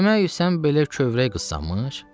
Demək sən belə kövrək qızsanmış?